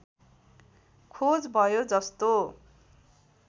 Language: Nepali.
खोज भयो जस्तो